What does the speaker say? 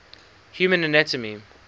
human anatomy